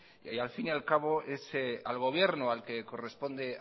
que al fin y al cabo es al gobierno al que corresponde